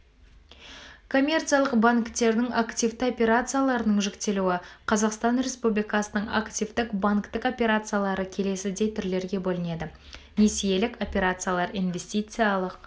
коммерциялық банктердің активті операцияларының жіктелуі қазақстан респупликасының активтік банктік операциялары келесідей түрлерге бөлінеді несиелік операциялар инвестициялық